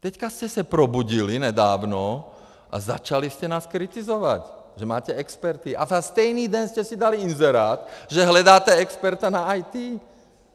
Teď jste se probudili nedávno a začali jste nás kritizovat, že máte experty, a ve stejný den jste si dali inzerát, že hledáte experta na IT.